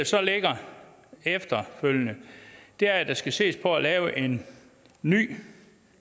så ligger efterfølgende er at der skal ses på at lave en ny